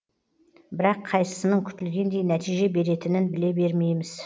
бірақ қайсысының күтілгендей нәтиже беретінін біле бермейміз